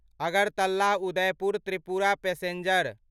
Agartala Udaipur Tripura passenger